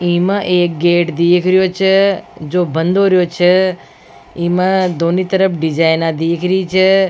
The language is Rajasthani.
ई में एक गेट देख रियो छ जो बंद हो रेहो छ इमा दोनी तरफ डिज़ाइना दीख री छ।